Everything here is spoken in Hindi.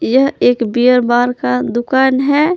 यह एक बीयर बार का दुकान है।